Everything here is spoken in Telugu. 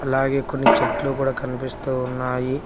అలాగే కొన్ని చెట్లు కూడా కనిపిస్తూ ఉన్నాయి.